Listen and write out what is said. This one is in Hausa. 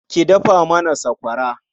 Ki dafa mana sakwara.